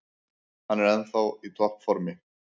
Hann er ennþá í topp formi.